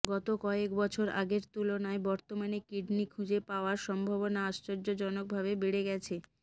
গত কয়েক বছর আগের তুলনায় বর্তমানে কিডনি খুঁজে পাওয়ার সম্ভাবনা আশ্চর্যজনকভাবে বেড়ে গেছে